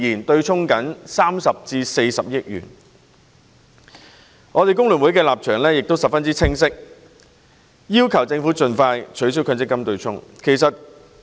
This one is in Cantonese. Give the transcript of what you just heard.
工聯會在這個問題上的立場十分清晰，就是要求政府盡快取消強積金對沖機制。